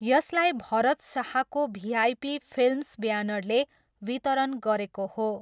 यसलाई भरत शाहको VIP films ब्यानरले वितरण गरेको हो।